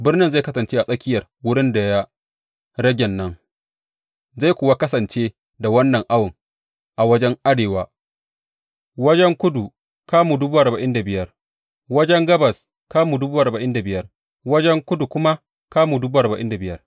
Birnin zai kasance a tsakiyar wurin da ya ragen nan zai kuwa kasance da wannan awon, a wajen arewa kamu dubu arba'in da biyar, wajen kudu kamu dubu arba'in da biyar, wajen gabas kamu dubu arba'in da biyar, wajen kudu kuma kamu dubu arba'in da biyar.